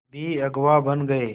भी अगुवा बन गए